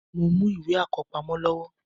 Mo mú ìwé àkọ́pamọ́ lọ́wọ́